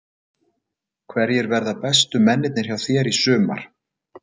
Hverjir verða bestu mennirnir hjá þér í sumar?